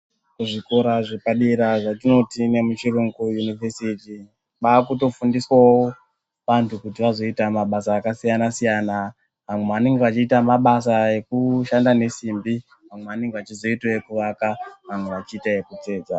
Kuzvikora zvepadera zvatinoti ngemuchiyungu univesiti mwaakutofundiswawo vantu kuti zvazoita mabasa akasiyana siyana. Vamwe vanenge vachiita mabasa ekushanda nesimbi, vamwe vanenge vachiita wo ekuaka, vamwe vachiita ekutsetsa.